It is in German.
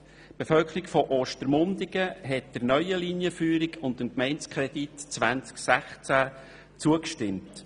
Die Bevölkerung von Ostermundigen stimmte der neuen Linienführung und dem Gemeindekredit 2016 zu.